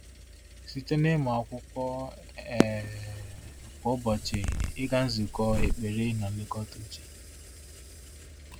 Site n’ịmụ akwụkwọ um kwa ụbọchị, ịga nzukọ, ekpere, na nlekọta uche.